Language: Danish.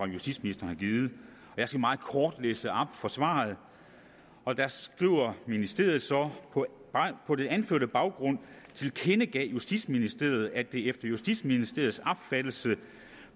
justitsministeren har givet jeg skal meget kort læse op fra svaret og der skrev ministeriet så på den anførte baggrund tilkendegav justitsministeriet at det efter justitsministeriets opfattelse